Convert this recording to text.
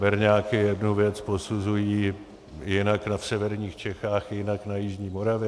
Berňáky jednu věc posuzují jinak v severních Čechách, jinak na jižní Moravě.